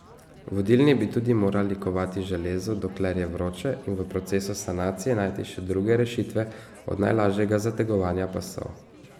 Vodilni bi tudi morali kovati železo, dokler je vroče, in v procesu sanacije najti še druge rešitve od najlažjega zategovanja pasov.